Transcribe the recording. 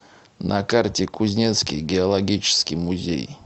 на карте кузнецкий геологический музей